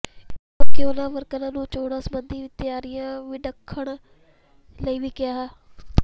ਇਸ ਮੌਕੇ ਉਨ੍ਹਾਂ ਵਰਕਰਾਂ ਨੂੰ ਚੋਣਾਂ ਸਬੰਧੀ ਤਿਆਰੀਆਂ ਵਿੱਢਣ ਲਈ ਵੀ ਕਿਹਾ